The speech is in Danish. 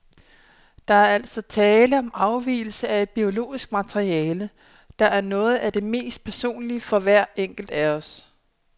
Der er altså tale om afgivelse af et biologisk materiale, der er noget af det mest personlige for hver enkelt af os.